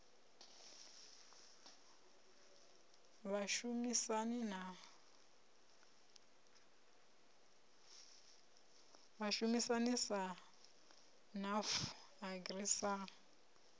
vhashumisani sa nafu agri sa